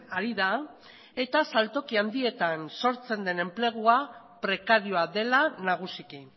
ari da eta saltoki handietan sortzen den enplegua prekarioa dela nagusiki